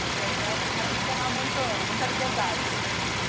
Que é para o para o cara não tomar muito muita liberdade.